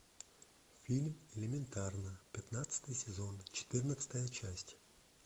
фильм элементарно пятнадцатый сезон четырнадцатая часть